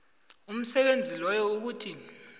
umsebenzi loyo ukuthi